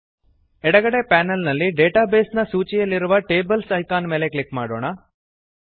ಎಡಗಡೆ ಪೆನಲ್ ನಲ್ಲಿ database ನ ಸೂಚಿಯಲ್ಲಿರುವ ಟೇಬಲ್ಸ್ ಐಕಾನ್ ಮೇಲೆ ಕ್ಲಿಕ್ ಮಾಡೋಣ